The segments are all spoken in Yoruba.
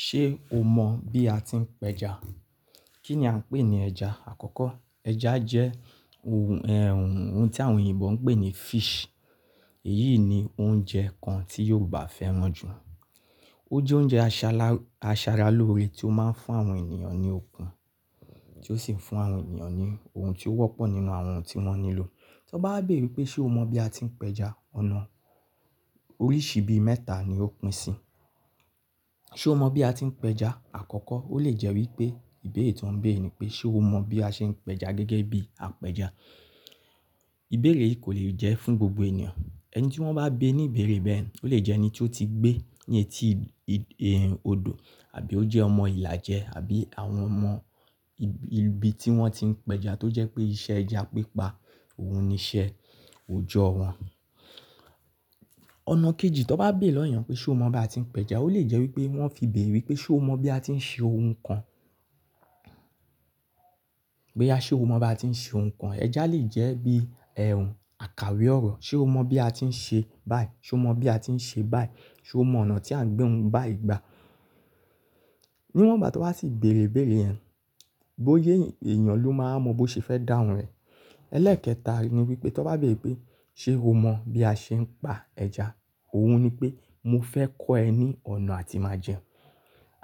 Ṣé o mọ̀ bí a ti ń pẹja? Kí ni a ń pè ní ẹja? Àkọ́kọ́, ẹja jẹ́ ohun, ẹh, ohun tí àwọn òyìnbó ń pè ní fish. Èyí ni oúnjẹ kan tí Yòòbá fẹ́ràn jù. Ó jẹ́ oúnjẹ aṣa-aṣara lóore tí ó máa ń fún àwọn ènìyàn ní okun, tí ó sì ń fún àwọn ènìyàn ní ohun tí ó wọ́pọ̀ nínú àwọn ohun tí wọ́n nílò. Ti wọn bá bèrè wípé ṣe o mọ̀ bí a ti ń pẹja, ọ̀nà oríṣi bí mẹ́ta ni ó pín sí. Ṣé o mọ̀ bí a ti ń pẹja? Àkọ́kọ́, ó lè jẹ́ wípé ìbéèrè tí wọ́n ń béèrè ni pé ṣé o mọ̀ bí a ṣe ń pẹja gẹ́gẹ́ bí a pẹja. Ìbéèrè yìí kò lè jẹ́ fún gbogbo ènìyàn. Ẹni tí wọ́n bá bi ní ìbéèrè bẹ́ẹ̀, ó lè jẹ́ ẹni tí ó ti gbé ní etí i-i-ìhín odò àbí ó jẹ́ ọmọ ìlàjẹ àbí àwọn ọmọ ibi tí wọ́n ti ń pẹja tó jẹ́ pé iṣẹ́ ẹja pípa òun ni iṣẹ́ òjọ́ wọn. Ọ̀nà kejì, tí wọ́n bá béèrè lọ́ ènìyàn pé ṣe o mọ̀ bí a ti ń pẹja, ó lè jẹ́ wípé wọ́n fi béèrè wípé ṣe o mọ̀ bí a ti ń ṣe ohun kan. Boya ṣé o mọ̀ bí a ti ń ṣe ohun kan. Ẹja lè jẹ́ bí, ẹh, akawe ọ̀rọ̀. Ṣé o mọ̀ bí a ti ń ṣe báìi? Ṣé o mọ̀ bí a ti ń ṣe báìi? Ṣé o mọ̀ ọ̀nà tí à ń gbé ohun bayi gba Níwọ́n gbá ti wọn ba ti bèrè ibere yẹn, bóya eyanbló máa wa mọ bó ṣe fẹ́ dáhun rẹ̀. Ẹ́lẹ́ẹ̀kẹta ni wípé tí wọ́n bá bèrè wípé ṣe o mọ̀ bí a ṣe ń pa ẹja, òun ni pé mo fẹ́ kọ́ ẹ ní ọ̀nà tí màá jẹun.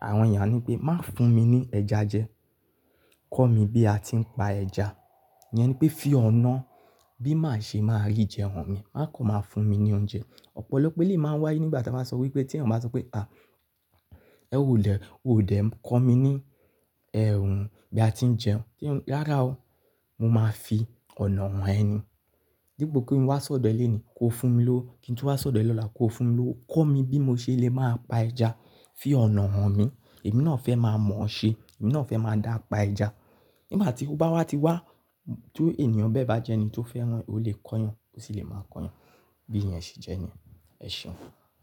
Àwọn ènìyàn ni pé má fún mi ní ẹja jẹ. Kọ́ mi bí a ti ń pa ẹja. Ìyẹn ni pé fí ọ̀nà bí màá ṣe máa rí jẹun hàn mí. Má kọ́ máa fún mi ní oúnjẹ. Ọ̀pọ̀lọ́pọ̀ eleyi máa ń wáyé nígbà tí a bá sọ wípé tí ẹnìyan bá sọ pé à, ẹ ò lè, ò dẹ̀ kọ́ mi ní, ẹh, ohun bí a ti ń jẹun. Rárá o, mo máa fi ọ̀nà hàn ẹ ní. Dipo kí n wá sọ̀dọ̀ ẹ lónìí, kó fún mi lowo Kí n tú wá sọ̀dọ̀ lọ́la kó fún mi lowo Kọ́ mi bí mo ṣe lè máa pa ẹja. Fí ọ̀nà hàn mi. Èmi náà fẹ́ máa mọ̀ ọ́ ṣe. Èmi náà fẹ́ máa dápa ẹja. Nígbà tí ó bá wá ti wá, tí ènìyàn bẹ́ẹ̀ bá jẹ́ ẹni tí ó fẹ́ràn, ó lè kọ́ eyan, ó sì lè máa kọ́ ọ eyan. Bi ìyẹn ṣe jẹ́ niyẹn. Ẹ ṣéun.